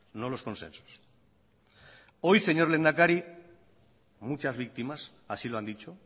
no los consensos hoy señor lehendakari muchas víctimas así lo han dicho